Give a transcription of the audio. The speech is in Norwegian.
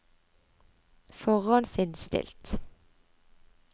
forhåndsinnstilt